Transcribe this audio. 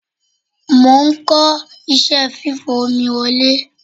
Mo ń kọ́ iṣẹ́ fífa omi wọlé.